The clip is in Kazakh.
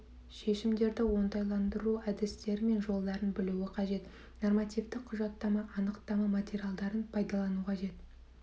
шешімдерді оңтайландыру әдістері мен жолдарын білуі қажет нормативтік құжаттама анықтама материалдарын пайдалану қажет